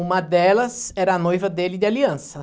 Uma delas era a noiva dele de aliança.